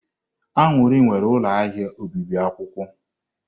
Aṅụri nwere ụlọ ahịa obibi akwụkwọ.